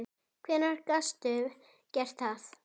Hvernig gastu gert það?!